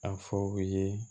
A fɔ u ye